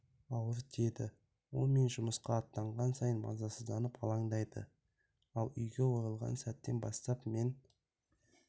ауыр тиеді ол мен жұмысқа аттанған сайын мазасызданып алаңдайды ал үйге оралған сәттен бастап мен